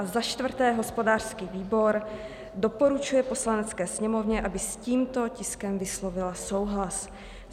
A za čtvrté hospodářský výbor doporučuje Poslanecké sněmovně, aby s tímto tiskem vyslovila souhlas.